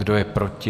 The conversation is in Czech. Kdo je proti?